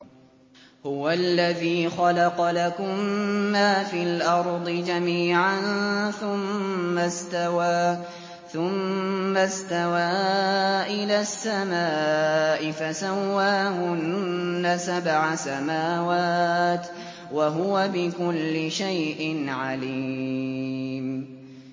هُوَ الَّذِي خَلَقَ لَكُم مَّا فِي الْأَرْضِ جَمِيعًا ثُمَّ اسْتَوَىٰ إِلَى السَّمَاءِ فَسَوَّاهُنَّ سَبْعَ سَمَاوَاتٍ ۚ وَهُوَ بِكُلِّ شَيْءٍ عَلِيمٌ